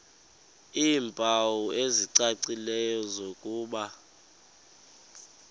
iimpawu ezicacileyo zokuba